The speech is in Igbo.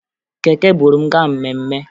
Keke buru m gaa mmemme